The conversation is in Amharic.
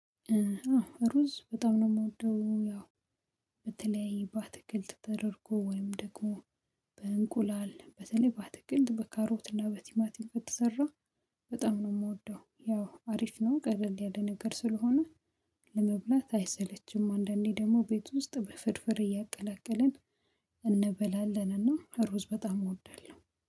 ሩዝ በጣም ነው የምወደው ያው በተለይ በአትክልት ተደርጎ ወይም ደግሞ በእንቁላል በተለይ በአትክልት በካሮት እና በቲማቲም ከተሰራ በጣም ነው የምወደው ያው አሪፍ ነው ቀለል ያለ ነገር ስለሆነ ለመብላት አይሰለችም አንዳንዴ ደግሞ ቤት ውስጥ በፍርፍር እያቀላቀልን እንበላለንና ሩዝ በጣም እወዳለሁ።